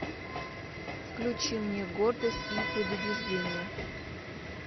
включи мне гордость и предубеждение